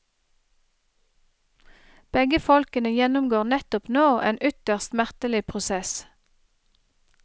Begge folkene gjennomgår nettopp nå en ytterst smertelig prosess.